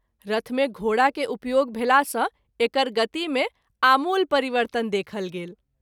रथ मे घोड़ा के उपयोग भेला सँ एकर गति मे आमूल परिवर्तन देखल गेल।